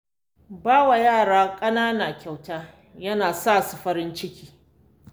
Ba wa yara ƙanana kyauta yana sa su farin ciki.